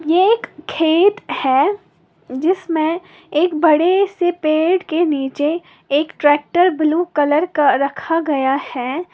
ये एक खेत है जिसमें एक बड़े से पेड़ के नीचे एक ट्रैक्टर ब्लू कलर का रखा गया है।